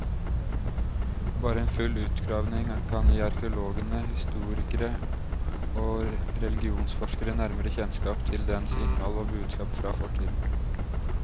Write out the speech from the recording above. Bare en full utgravning kan gi arkeologene, historikere og religionsforskere nærmere kjennskap til dens innhold og budskap fra fortiden.